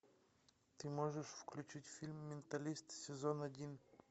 ты можешь включить фильм менталист сезон один